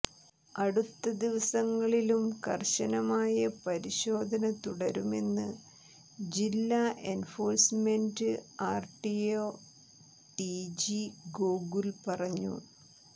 അടുത്ത ദിവസങ്ങളിലും കർശനമായ പരിശോധന തുടരുമെന്ന് ജില്ലാ എൻഫോഴ്സ്മെന്റ് ആർടിഒ ടിജി ഗോകുൽ പറഞ്ഞു